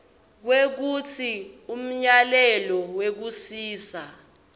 kwekutsi umyalelo wekusisa